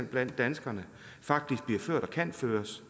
blandt danskerne faktisk kan føres